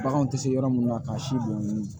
Baganw tɛ se yɔrɔ mun na k'a si bɔn